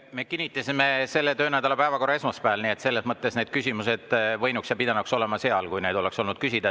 Me kinnitasime selle töönädala päevakorra esmaspäeval, nii et selles mõttes need küsimused võinuks olla ja pidanuks olema siis, kui neid oleks küsida.